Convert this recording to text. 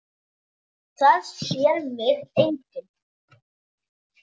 Það sér mig enginn.